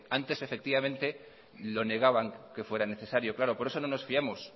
antes lo negaban que fuera necesario claro por eso no nos fiamos